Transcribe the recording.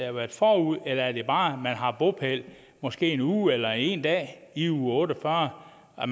har været forud eller er det bare at man har bopæl måske en uge eller en dag i uge otte og fyrre og